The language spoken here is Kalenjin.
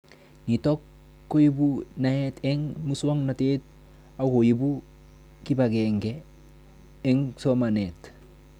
Nitok koipu naet eng' muswognatet akoipu kipag'eng'e eng'somanet